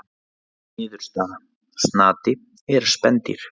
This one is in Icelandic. Niðurstaða: Snati er spendýr.